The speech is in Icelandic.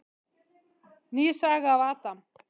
Ný saga af Adam.